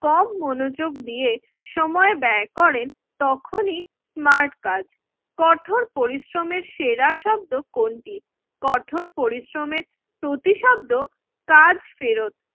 কম মনোযোগ দিয়ে সময় ব্যয় করেন তখনই স্মার্ট কাজ। কঠোর পরিশ্রমের সেরা শব্দ কোনটি? কঠোর পরিশ্রমের প্রতিশব্দ কাজ ফেরত